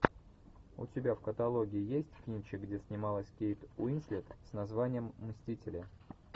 у тебя в каталоге есть кинчик где снималась кейт уинслет с названием мстители